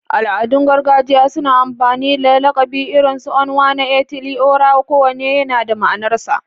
Al'adun gargajiya suna amfani da lakabi irin su Onwa-na-etili-ora, kowanne yana da ma'anarsa.